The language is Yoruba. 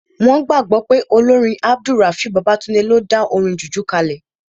Wọ́n gbàgbọ́ pé olórin AbdulRafiu Babatunde ló dá orin jùjú kalẹ̀